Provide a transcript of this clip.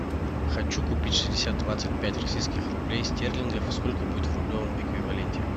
хочу купить шестьдесят двадцать пять российских рублей стерлингов сколько будет в рублевом эквиваленте